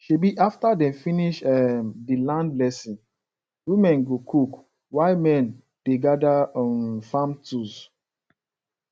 um after dem finish um di land blessing women go cook while men dey gather um farm tools